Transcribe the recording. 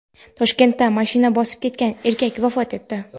Toshkentda mashina bosib ketgan erkak vafot etdi.